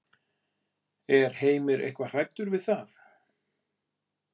Er Heimir eitthvað hræddur við það?